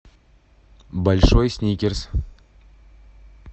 большой сникерс